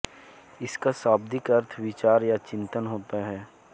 इसका शाब्दिक अर्थ विचार या चिन्तन होता है